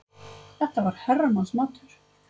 Þetta var herramannsmatur.